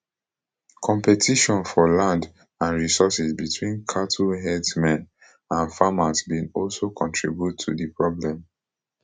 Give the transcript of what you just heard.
competition for land and resources between cattle herdsmen and farmers bin also contribute to di problem